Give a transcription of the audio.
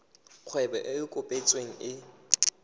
kgwebo e e kopetsweng e